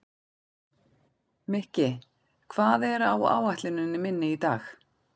Mikki, hvað er á áætluninni minni í dag?